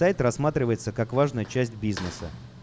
пэт рассматривается как важная часть бизнеса